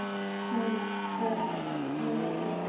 Hún ber nafn með rentu.